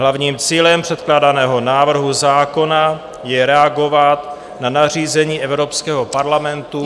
Hlavním cílem předkládaného návrhu zákona je reagovat na nařízení Evropského parlamentu...